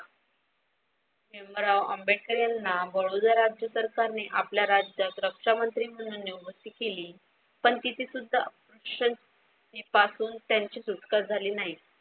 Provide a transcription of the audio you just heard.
भीमराव आंबेकर यांना बडोदा राज्य सरकारने आपल्या राज्यात रक्षामंत्री म्हणून नियुक्ती केली पण तिची सुद्धा पासून त्यांची सुटका झाली नाही.